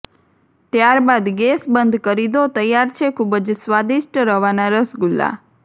ત્યારબાદ ગેસ બંધ કરી દો તૈયાર છે ખુબજ સ્વાદિષ્ટ રવાના રસગુલ્લા